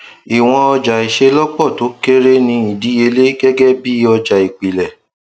iwọn ọjaiṣelọpọ to kere ni idiyele gẹgẹ bí ọja ipilẹ